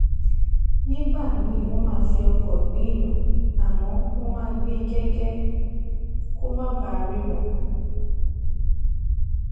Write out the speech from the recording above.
proparco jẹ ileiṣẹ iṣowo idagbasoke ti o jẹ ti agence française de développement afd